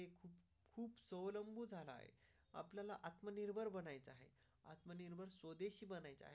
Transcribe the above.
आपल्याला आत्मनिर्भर बनायचे आणि पनीरवर स्वदेशी बनायचे आहे.